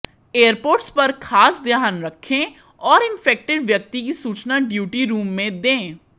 airports पर खास ध्यान रखें और इन्फेक्टेड व्यक्ति की सूचना ड्यूटी रूम में दें